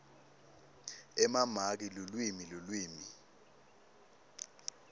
emamaki lulwimi lulwimi